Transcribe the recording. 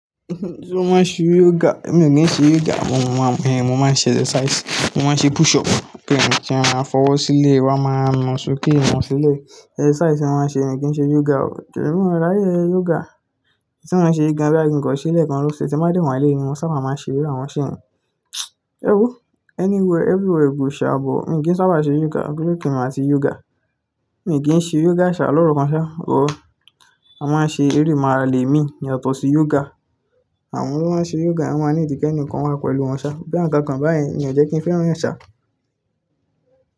Tí wọ́n n ṣe yoga, èmi n kìí ṣe yoga, wọ́n ma-- èhè, mo máa ń ṣe exercise, mo máa ń ṣe push up, kí ènìyàn tí ó máa fọwọ́ sílẹ̀, wàá máa na ṣokí wọn sílẹ̀. Exercise tí mo máa ń ṣe, mi kì í ṣe yoga o. Kíni mí ráyé yoga? Tí wọ́n ṣe gan-an báyìí kí ń kọ sílẹ̀ kan ló ṣe tí wọ́n bá dé wọlé ní, mo sábà máa ṣe irú àwọn ṣéyìn. Ẹ kú, anywhere everywhere kò ṣe àbọ̀, mi kì í sábà ṣe yoga, bí ó kí n máa ṣe yoga. Mi kì í ṣe yoga ṣá lọ́rọ̀ kan ṣá o. A máa ń ṣe eré màálè mi ní ọ̀tọ̀ọ̀tọ̀ sí yoga. Àwọn tí wọ́n n ṣe yoga wọ́n máa ń ní ìdíkẹ́ nìkan wá pẹ̀lú wọn ṣá, bí àwọn kan kàń bá yẹn, mi ò jẹ́ kí ń fẹ́ràn ṣá.